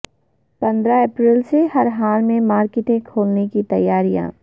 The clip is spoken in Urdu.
پندرہ اپریل سے ہر حال میں مارکیٹیں کھولنے کی تیاریاں